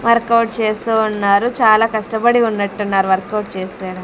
work out చేస్తూ ఉన్నారు చాలా కష్టపడి ఉన్నట్టున్నారు వర్కౌట్ చేస్కోడా--